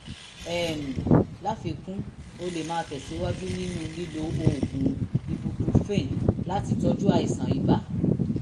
um láfikún o lè máa tẹ̀síwájú nínú lílo oògùn ibuprofen láti tọ́jú àìsàn ibà